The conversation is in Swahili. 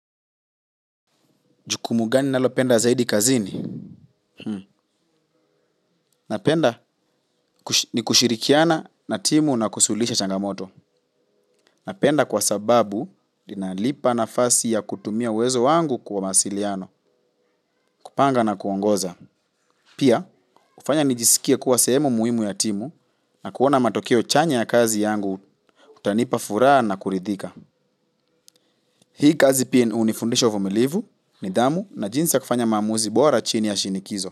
Jukumu gani nalopenda zaidi kazini? Napenda ni kushirikiana na timu na kusuluhisha changamoto. Napenda kwa sababu ininalipa nafasi ya kutumia uwezo wangu kwa mawasiliano, kupanga na kuongoza. Pia, kufanya nijisikie kuwa sehemu muhimu ya timu na kuona matokeo chanya ya kazi yangu kutanipa furaha na kuridhika. Hii kazi pia hunifundisha uvumilivu, nidhamu na jinsi ya kufanya maamuzi bora chini ya shinikizo.